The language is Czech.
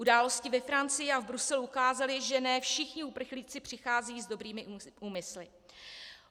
Události ve Francii a v Bruselu ukázaly, že ne všichni uprchlíci přicházejí s dobrými úmysly.